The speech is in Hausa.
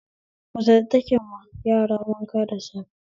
Mace ita take ma yara wanka da safe